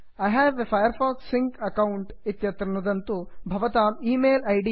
I have a Firefox sync account I have a Firefox sync account इत्यत्र नुदन्तु